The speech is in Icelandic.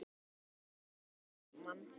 Hann var við Ármann.